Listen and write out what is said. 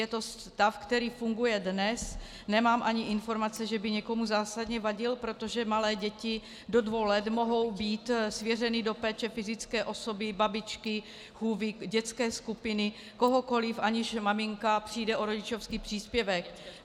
Je to stav, který funguje dnes, nemám ani informace, že by někomu zásadně vadil, protože malé děti do dvou let mohou být svěřeny do péče fyzické osoby, babičky, chůvy, dětské skupiny, kohokoliv, aniž maminka přijde o rodičovský příspěvek.